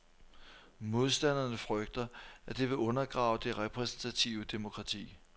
Modstanderne frygter, at det vil undergrave det repræsentative demokrati.